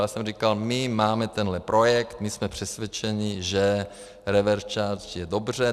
Já jsem říkal - my máme tenhle projekt, my jsme přesvědčeni, že reverse charge je dobře.